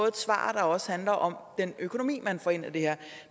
et svar der også handler om den økonomi man får ind af det her